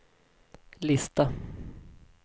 lista